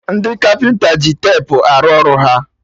Ndị kapịnta ji tepu arụ ọrụ ha